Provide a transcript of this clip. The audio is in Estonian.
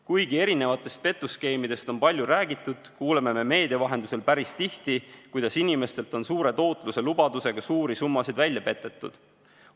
Kuigi erinevatest petuskeemidest on palju räägitud, kuuleme me meedia vahendusel päris tihti, kuidas inimestelt on suure tootluse lubadusega suuri summasid välja petetud.